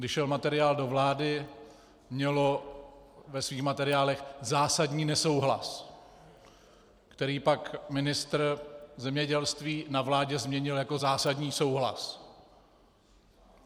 Když šel materiál do vlády, mělo ve svých materiálech zásadní nesouhlas, který pak ministr zemědělství na vládě změnil jako zásadní souhlas.